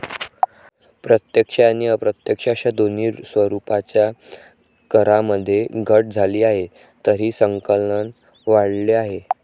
प्रत्यक्ष आणि अप्रत्यक्ष अशा दोन्ही स्वरुपाच्या करामध्ये घट झाली आहे, तरीही संकलन वाढले आहे.